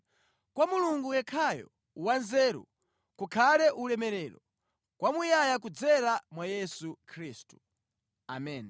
kwa Mulungu yekhayo wanzeru kukhale ulemerero kwamuyaya kudzera mwa Yesu Khristu! Ameni.